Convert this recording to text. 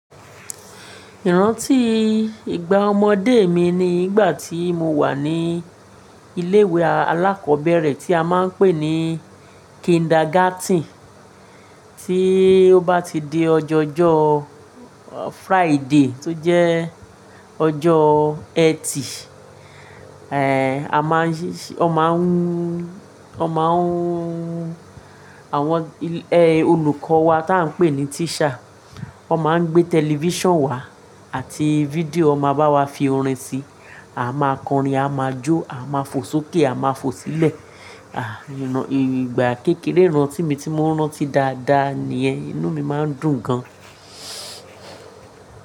Ìrántí ìgbà ọmọdé mi ni ìgbà tí mo wà ní ilé ìwé alákọ̀ọ́bẹ̀rẹ̀ tí a máa ń pè ní "kindergarten", tí ó bá ti di ọjọ́ ọjọ́ Friday tó jẹ́ ọjọ́ Ẹtì, ẹ, a máa ń yí-- ọ máa ń, ọ máa ń, àwọn ẹ, olùkọ́ wa tí a ń pè ní teacher, ọ máa ń gbé television wá àti fídíò máa bá wa fi orin sí, a máa kọrin, a máa jó, a máa fò sókè, a máa fò sílẹ̀. À, ìrá-- ìgbà kékeré ìrántí mi tí mo rántí dáadáa ní ẹ, inú mi máa ń dùn gan.